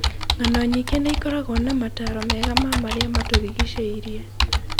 Ng'ano nyingĩ nĩ ikoragwo na maataro mega ma marĩa matũũrigicĩirie.